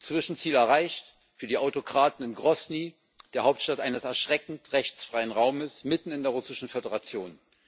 Zwischenziel erreicht für die Autokraten in Grosny, der Hauptstadt eines erschreckend rechtsfreien Raumes mitten in der Russischen Föderation.